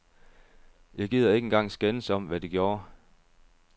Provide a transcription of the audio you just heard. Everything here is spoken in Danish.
Jeg gider ikke engang skændes om, hvad de gjorde.